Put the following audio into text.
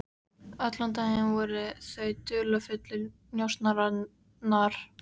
Allan daginn voru þau dularfullir njósnarar.